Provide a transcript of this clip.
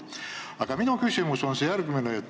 Aga minu küsimus on järgmine.